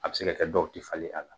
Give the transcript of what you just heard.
A bɛ se ka kɛ dɔw tɛ falen a la